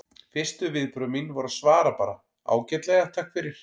Fyrstu viðbrögð mín voru að svara bara: Ágætlega, takk fyrir